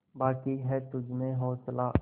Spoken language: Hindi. बाक़ी है तुझमें हौसला